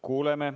Kuuleme.